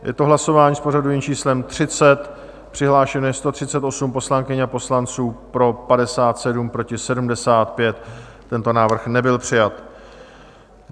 Je to hlasování s pořadovým číslem 30, přihlášeno je 138 poslankyň a poslanců, pro 57, proti 75, tento návrh nebyl přijat.